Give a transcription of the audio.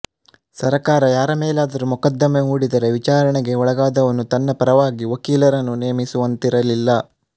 ಸರಕಾರ ಯಾರ ಮೇಲಾದರೂ ಮೊಕದ್ದಮೆ ಹೂಡಿದರೆ ವಿಚಾರಣೆಗೆ ಒಳಗಾದವನು ತನ್ನ ಪರವಾಗಿ ವಕೀಲರನ್ನು ನೇಮಿಸುವಂತಿರಲಿಲ್ಲ